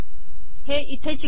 हे इथे चिटकवू